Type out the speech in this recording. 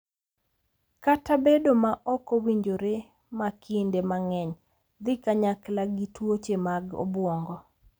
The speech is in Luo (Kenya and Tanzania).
Kata bedo ma ok owinjore ma kinde mang’eny dhi kanyakla gi tuoche mag obwongo.